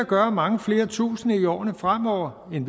gør at mange flere tusinde end i årene fremover vil